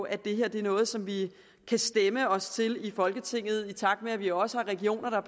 at det her er noget som vi kan stemme os til i folketinget med tanke på at vi også har regioner og